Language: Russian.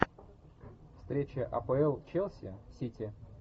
встреча апл челси сити